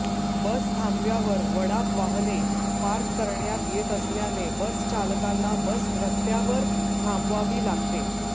बसथांब्यावर वडाप वाहने पार्क करण्यात येत असल्याने बसचालकांना बस रस्त्यावर थांबवावी लागते